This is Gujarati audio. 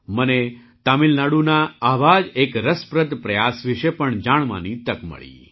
મને તમિલનાડુના આવા જ એક રસપ્રદ પ્રયાસ વિશે પણ જાણવાની તક મળી